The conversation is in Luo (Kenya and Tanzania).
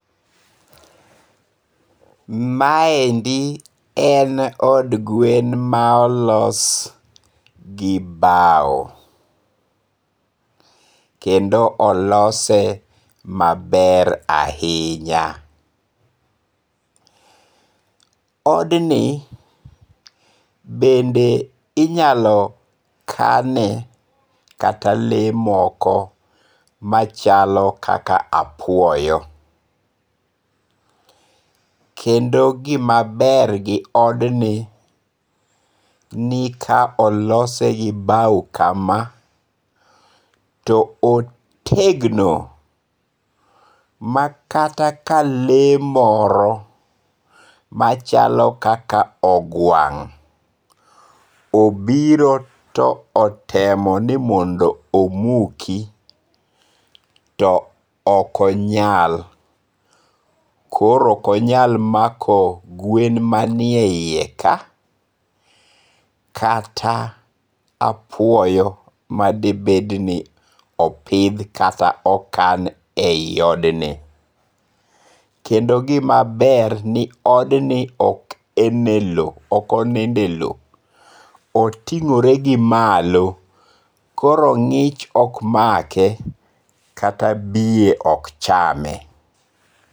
Maendi en od gwen ma olos gi bao, kendo olose maber ahinya, odni bende inyalo kata kane le moko machalo kaka apuoyo kendo gimaber gi odni, ni ka olose gi bau kama to otegno makata ka le moro machalo kaka ogwang' obiro to otemo ni mondo omuki to okonyal, koro okonyal mako gwen manie iye ka kata apwoyo madebed ni opidh kata okan e yi odni, kendo gimaber ok enelo otingo're gi malo koro ngi'ch ok make kata biye ok chame.